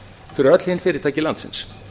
fyrir öll hin fyrirtæki landsins